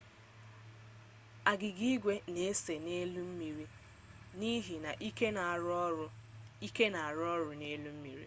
agịga igwe n'ese n'elu mmiri n'ihi ike n'arụ ọrụ n'elu mmiri